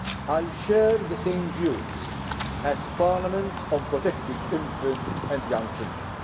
I share the same views as Parliament on protecting infants and young children.